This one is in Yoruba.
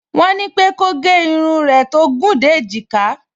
Wọ́n ní pé kó gẹ irun rẹ̀ tó gùn dé èjìká